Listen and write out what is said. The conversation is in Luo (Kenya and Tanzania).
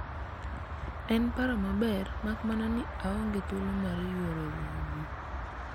en paro maber ,mak mana ni aonge thuolo mar yuoro romo